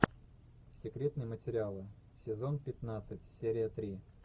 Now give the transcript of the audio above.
секретные материалы сезон пятнадцать серия три